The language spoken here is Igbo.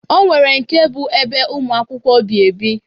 O nwere nke bụ ebe ụmụ akwụkwọ bi ebi.